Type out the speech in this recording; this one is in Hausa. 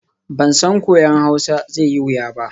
Ban san koyon Hausa zai yi wuya ba.